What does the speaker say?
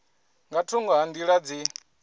nga thungo ha nḓila dzi